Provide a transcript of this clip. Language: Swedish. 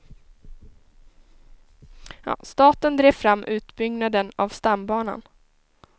Staten drev fram utbyggnaden av stambanan.